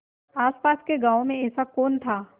आसपास के गाँवों में ऐसा कौन था